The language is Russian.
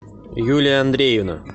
юлия андреевна